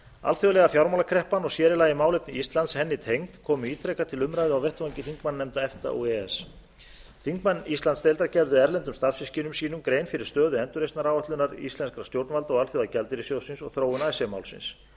alþjóðlega fjármálakreppan og sér í lagi málefni íslands henni tengd komu ítrekað til umræðu á vettvangi þingmannanefnda efta og e e s þingmenn íslandsdeildar gerðu erlendum starfssystkinum sínum grein fyrir stöðu endurreisnaráætlunar íslenskra stjórnvalda og alþjóðagjaldeyrissjóðsins og þróun icesave málsins